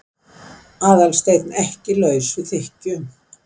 Aðalsteinn, ekki laus við þykkju.